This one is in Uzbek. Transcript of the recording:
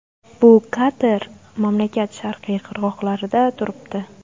Bu kater mamlakat sharqiy qirg‘oqlarida turibdi.